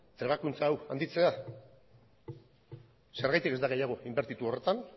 trebakuntza hau handitzea zergatik ez da gehiago inbertitu horretan